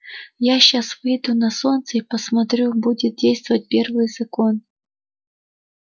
я сейчас выйду на солнце и посмотрю будет действовать первый закон